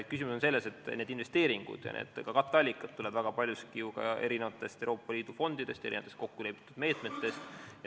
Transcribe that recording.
Küsimus on selles, et need investeeringud ja ka katteallikad tulevad väga paljuski ju ka Euroopa Liidu fondidest ja kokkulepitud meetmetest.